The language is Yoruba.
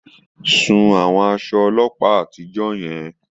Sun àwọn aṣọ ọlọ́pàá àtijọ́ yẹn.